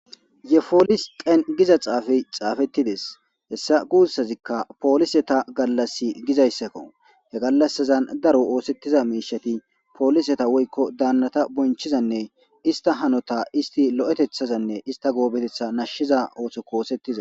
Yefolis qen giza xaafey xaafettides hessa guussazikka poolise ta gallas gizayssakko he gallasazan daro oosettiza miishati pooliseta woykko daannata bonchizanne ista hanota isti lo7etethazanne ista goobetetha nashshiza ooso ko oosettiza